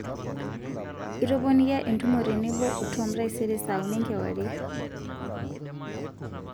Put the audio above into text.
itoponikia entumo tenebo o tom taisere saa uni enkewarie